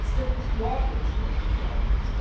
Das wird nicht morgen zu Ende sein.